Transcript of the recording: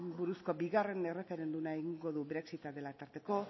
buruzko bigarren erreferenduma egingo du brexita dela tarteko